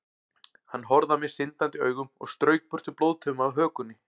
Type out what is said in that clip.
Hann horfði á mig syndandi augum og strauk burtu blóðtauma af hökunni.